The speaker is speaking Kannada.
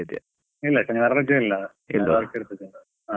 ಇಲ್ಲಾ ಶನಿವಾರ ರಜೆ ಇಲ್ಲಾ ಇರ್ತದೆ.